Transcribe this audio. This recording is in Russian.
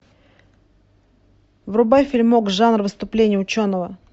врубай фильмок жанр выступление ученого